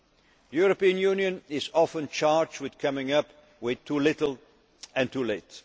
use of time. The European Union is often charged with coming up with too little